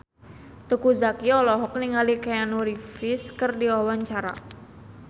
Teuku Zacky olohok ningali Keanu Reeves keur diwawancara